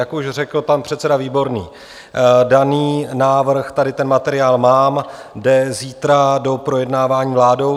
Jak už řekl pan předseda Výborný, daný návrh - tady ten materiál mám - jde zítra do projednávání vládou.